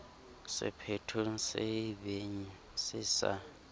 sephethong se ebeng se sa